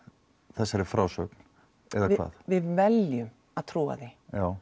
þessari frásögn eða hvað við veljum að trúa því